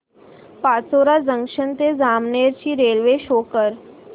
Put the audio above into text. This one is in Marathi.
पाचोरा जंक्शन ते जामनेर ची रेल्वे शो कर